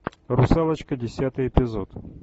русалочка десятый эпизод